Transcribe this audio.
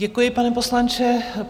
Děkuji, pane poslanče.